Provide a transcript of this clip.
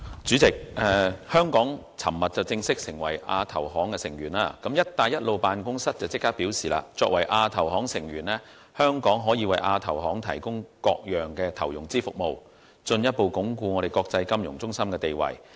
主席，香港在昨天正式成為亞洲基礎建設投資銀行成員，辦公室立即表示作為亞投行成員，香港可以為亞投行提供各種投融資服務，進一步鞏固其國際金融中心地位。